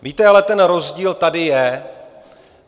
Víte, ale ten rozdíl tady je.